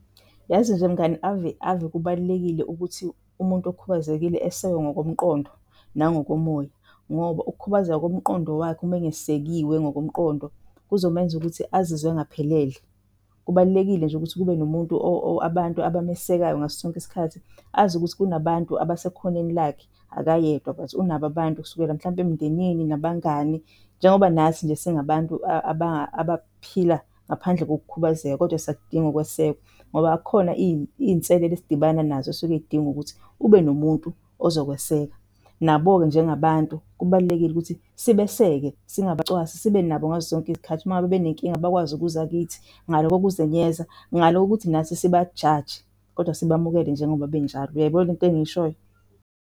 Yazi nje mngani ave, ave kubalulekile ukuthi umuntu okhubazekile esekwe ngokomqondo nangokomoya ngoba ukukhubazeka komqondo wakhe uma engesekiwe ngokomqondo kuzomenza ukuthi azizwe engaphelele. Kubalulekile nje ukuthi kube nomuntu or abantu abamesekayo ngaso sonke isikhathi azi ukuthi kunabantu abasekhoneni lakhe akayedwa but unabo abantu kusukela mhlawumbe emndenini nabangani. Njengoba nathi nje singabantu abaphila ngaphandle kokukhubazeka, kodwa siyakudinga ukwesekwa ngoba khona iy'nselelo esidibana nazo esuke kudinga ukuthi ube nomuntu ozokweseka. Nabo-ke njengabantu kubalulekile ukuthi sibeseke singabacwasi sibe nabo ngaso sonke isikhathi. Uma ngabe benenkinga bakwazi ukuza kithi ngale kokuzenyeza, ngale kokuthi nathi sibajaje kodwa sibamukele njengoba benjalo. Uyayibo lento engiyishoyo?